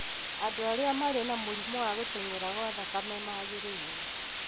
Andũ arĩa marĩ na mũrimũ wa gũtenyera kwa thakame magĩrĩirũo: